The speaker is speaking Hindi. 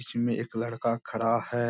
इसी में एक लड़का खड़ा है।